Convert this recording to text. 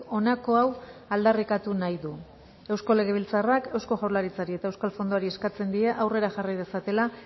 honako hau aldarrikatu nahi du eusko legebiltzarrak eusko jaurlaritzari eta euskal fondoari eskatzen die aurrera jarri dezatela